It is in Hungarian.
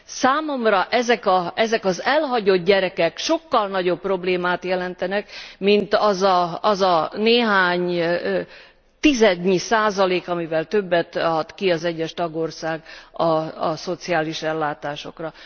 Számomra ezek az elhagyott gyerekek sokkal nagyobb problémát jelentenek, mint az a néhány tizednyi százalék, amivel többet ad ki az egyes tagország a szociális ellátásokra.